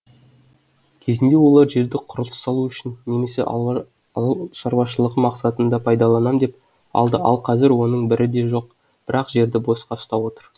кезінде олар жерді құрылыс салу үшін немесе ауылшаруашылығы мақсатына пайдаланам деп алды ал қазір оның бірі де жоқ бірақ жерді босқа ұстап отыр